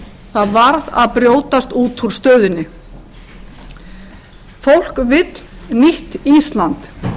það varð að brjótast út úr stöðunni fólk vill nýtt ísland